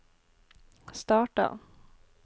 starta